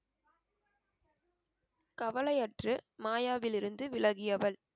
கவலையற்று மாயாவிலிருந்து விலகியவள்